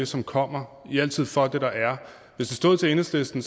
som kommer i er altid for det der er hvis det stod til enhedslisten